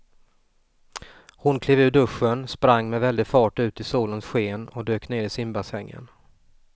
Hon klev ur duschen, sprang med väldig fart ut i solens sken och dök ner i simbassängen.